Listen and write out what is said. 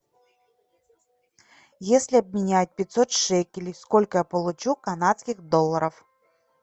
если обменять пятьсот шекелей сколько я получу канадских долларов